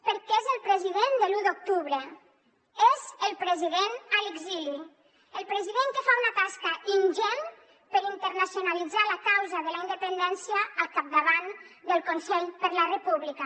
perquè és el president de l’u d’octubre és el president a l’exili el president que fa una tasca ingent per internacionalitzar la causa de la independència al capdavant del consell per la república